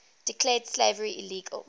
declared slavery illegal